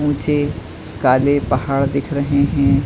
उँचे काले पहाड़ दिख रहे हैं।